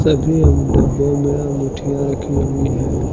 अभी इन डब्बो में अंगूठियां रखी हुई हैं।